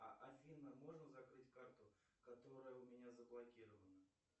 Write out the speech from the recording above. афина можно закрыть карту которая у меня заблокирована